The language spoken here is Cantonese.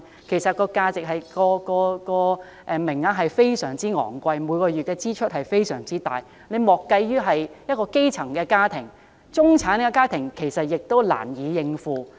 其實，這收費非常昂貴，家庭每月的支出非常大。莫說基層家庭，中產家庭也難以應付。